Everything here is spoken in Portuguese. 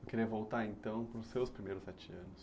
Eu queria voltar então para os seus primeiros sete anos.